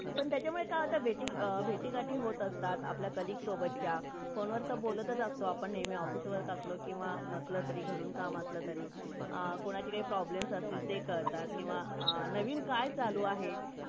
पण त्याचमुळे की होते भेटी , भेटी गाती होत असते आपल्या colleague सोबतच्या phone वरती ते बोलतच असतो आपण नेहमी office work असला तरी किवा नसला तरी घरून काम असला तरी , कोणाची काही problem असला तरी ते काळतात किवा नवीन काय चालू आहे